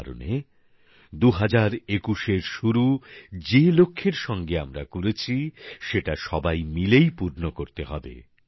এই কারণে ২০২১ এর শুরু যে লক্ষ্যের সাথে আমরা করেছি সেটা সবাই মিলেই পূর্ণ করতে হবে